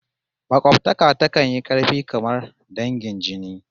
Makobtaka takan yi karfi kamar dangin jini